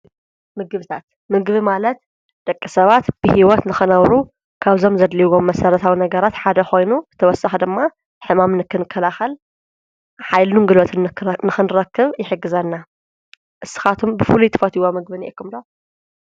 ምግብታት ፣ምግቢ ማለት ደቂ ሰባት ብሕይወት ንኽነብሩ ካብዞም ዘድልዎም መሠረታዊ ነገራት ሓደ ኾይኑ ተወሳኪ ደማ ሕማም ንክንከላኻል ኃይሉ ጉልበትን ንኽንረክብ ይሕግዘና። እስኻቶም ብፉሉይ ትፈትውዎ ምግብ ኣለኩም ዶ?